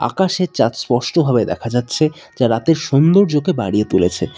আকাশে চাঁদ স্পষ্ট ভাবে দেখা যাচ্ছে যা রাতের সৌন্দর্যকে বাড়িয়ে তুলেছে।